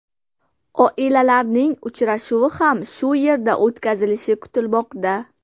Oilalarning uchrashuvi ham shu yerda o‘tkazilishi kutilmoqda.